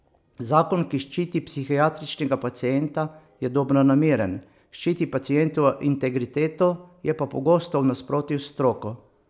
Zakon, ki ščiti psihiatričnega pacienta, je dobronameren, ščiti pacientovo integriteto, je pa pogosto v nasprotju s stroko.